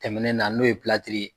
Tɛmɛnen na n'o ye pilatiri ye.